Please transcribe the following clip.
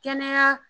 Kɛnɛya